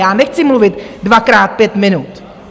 Já nechci mluvit dvakrát pět minut.